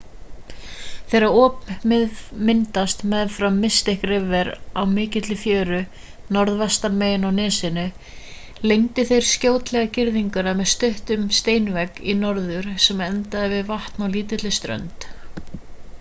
þegar op myndaðist meðfram mystic river á mikilli fjöru norðvestan megin á nesinu lengdu þeir skjótlega girðinguna með stuttum steinvegg í norður sem endar við vatnið á lítilli strönd